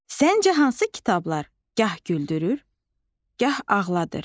Səncə hansı kitablar gah güldürür, gah ağladır?